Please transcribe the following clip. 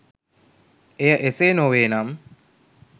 එය එසේ නොවේනම්